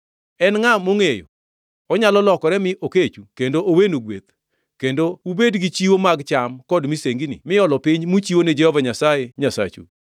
En ngʼa mongʼeyo? Onyalo lokore mi okechu kendo owenu gweth, kendo ubed gi chiwo mag cham kod misengini miolo piny muchiwo ni Jehova Nyasaye, Nyasachu.